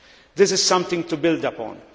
This is something to build upon.